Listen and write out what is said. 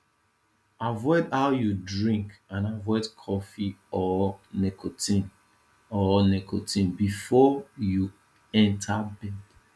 avoid how you drink and avoid cofee or nicotine or nicotine before you enter bed